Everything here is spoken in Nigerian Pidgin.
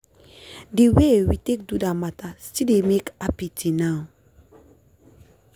the way we take do that matta still dey make happy till now sef.